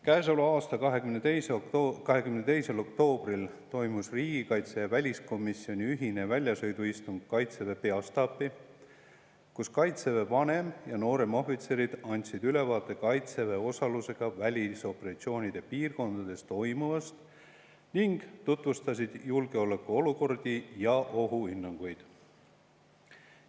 22. oktoobril toimus riigikaitsekomisjoni ja väliskomisjoni ühine väljasõiduistung Kaitseväe peastaabis, kus kaitseväe vanem- ja nooremohvitserid andsid ülevaate kaitseväe osalusega välisoperatsioonide piirkondades toimuvast ning tutvustasid julgeolekuolukordi ja ohuhinnanguid.